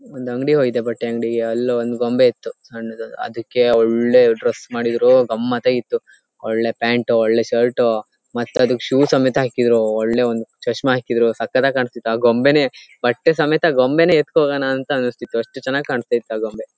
ಒಂದ್ ಅಂಗ್ಡಿಗೆ ಹೋಗಿದ್ದೆ ಬಟ್ಟೆ ಅಂಗಡಿಗೆ ಅಲ್ಲಿ ಒಂದು ಗೊಂಬೆ ಇತ್ತು ಸಣ್ಣದು ಅದಕ್ಕೆಒಳ್ಳೆ ಡ್ರೆಸ್ ಮಾಡಿದ್ರು ಗಮ್ಮತ್ಆಗಿ ಇತ್ತುಒಳ್ಳೆ ಪ್ಯಾಂಟ್ ಒಳ್ಳೆ ಶರ್ಟ್ ಮತ್ತೆ ಶೂ ಸಮೆತ್ತಾ ಹಾಕಿದ್ರು ಒಳ್ಳೆ ಒಂದು ಚಸಮಾ ಹಕ್ಕಿದ್ರು ಸಕತ್ತಾಗಿ ಕಾಣಸ್ತಿತ್ತು ಆ ಗೊಂಬೆನೆ ಬಟ್ಟೆ ಸಮೆತ್ತ ಗೊಂಬೆನೆ ಎತ್ತಕೊಂಡಿ ಹೋಗಣ ಅಂತಾ ಅನ್ನಸ್ತಿತ್ತು ಅಷ್ಟು ಚನ್ನಾಗಿ ಕಾಣತ್ತಿತು ಆ ಗೊಂಬೆ .